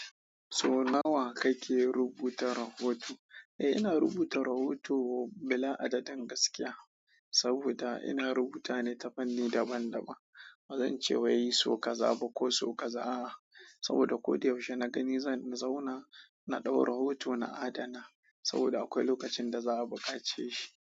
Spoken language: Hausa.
So nawa kake rubuta rahoto? Eh, ina rubuta rahoto bila adadin gaskiya saboda ina rubuta ne ta fanni daban-daban. Ba zan ce wai so ka zaba ko so ka za ba saboda ko da yaushe na gani zan zauna na ɗau rahoto na adana saboda akwai lokacin da za a buƙace shi.